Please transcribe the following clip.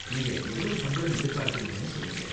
நீங்க எவ்வளவு சம்பளம் எதிர்பார்க்கறீங்கனு சொல்லுங்க.